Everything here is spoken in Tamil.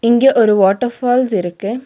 இங்க ஒரு வாட்டர் ஃபால்ஸ் இருக்கு.